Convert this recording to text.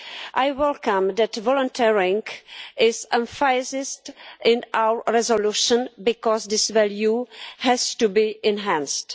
I welcome the fact that volunteering is emphasised in our resolution because this value has to be enhanced.